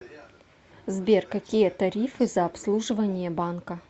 сбер какие тарифы за обслуживание банка